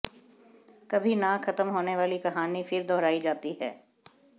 कभी न खत्म होने वाली कहानी फिर दोहरायी जाती है